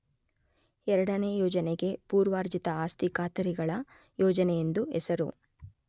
ಎರಡನೇ ಯೋಜನೆಗೆ ಪೂರ್ವಾರ್ಜಿತ ಆಸ್ತಿ ಖಾತರಿಗಳ ಯೋಜನೆ ಎಂದು ಹೆಸರು.